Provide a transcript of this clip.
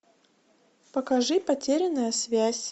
покажи потерянная связь